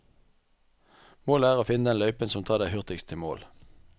Målet er å finne den løypa som tar deg hurtigst til mål.